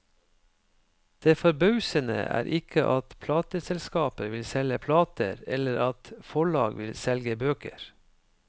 Det forbausende er ikke at plateselskaper vil selge plater eller at forlag vil selge bøker.